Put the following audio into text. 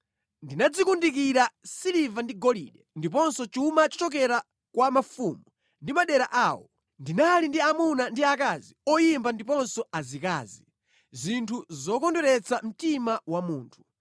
Ndinadzikundikira siliva ndi golide, ndiponso chuma chochokera kwa mafumu ndi madera awo. Ndinali ndi amuna ndi akazi oyimba ndiponso azikazi; zinthu zokondweretsa mtima wa munthu.